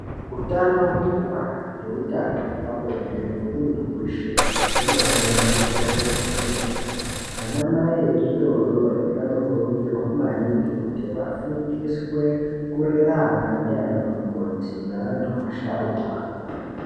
Utano hwekubara neutano hwepabonde hwemuntu weshe hunofanira kukosheswa kwemene , anamai echidodori anokurudzirwa maningi kuti vafundiswe kurera ana ndiana mukoti neantu asharukwa.